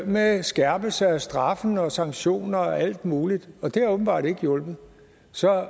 med skærpelse af straffe og sanktioner og alt muligt og det har åbenbart ikke hjulpet så